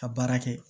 Ka baara kɛ